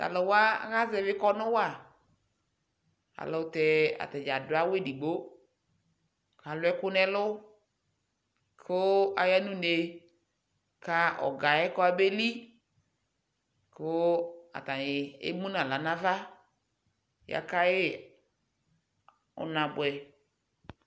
Tluwa akaʒɛvɛ kɔnu wa ayɛlutɛ atani aduawu edigbo kaluɛku nɛlu ku ayanune ka ɔɔgaɛ kɔmeli kuu atani emunaɣla nava yakayi unabuɛ